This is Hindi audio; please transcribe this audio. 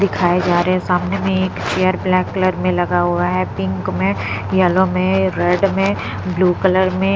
दिखाए जा रहे हैं सामने में एक चेयर ब्लैक कलर में लगा हुआ है पिंक में येलो में रेड में ब्लू कलर में --